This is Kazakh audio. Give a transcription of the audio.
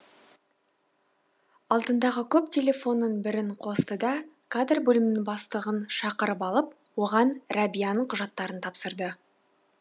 алдындағы көп телефонның бірін қосты да кадр бөлімінің бастығын шақырып алып оған рәбияның құжаттарын тапсырды